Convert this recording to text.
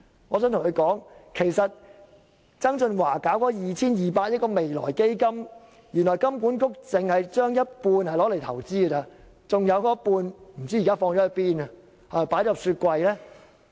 我想對他說，曾俊華成立的 2,200 億元未來基金，原來金管局只把一半錢用作投資，另一半現時不知去向。